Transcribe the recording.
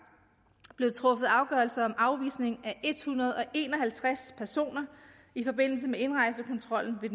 blev truffet afgørelse om afvisning af en hundrede og en og halvtreds personer i forbindelse med indrejsekontrollen ved